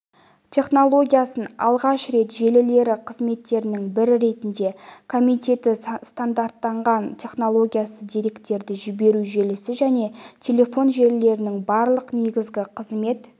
технологиясын алғаш рет желілері қызметтерінің бірі ретінде комитеті стандарттаған технологиясы деректерді жіберу желісі және телефон желілерінің барлық негізгі қызмет